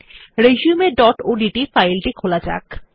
resumeওডিটি ফাইল টি খোলা যাক